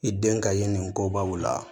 I den ka ɲi ni kobaw la